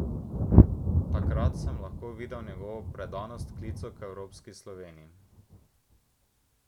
Takrat sem lahko videl njegovo predanost klicu k evropski Sloveniji.